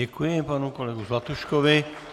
Děkuji panu kolegovi Zlatuškovi.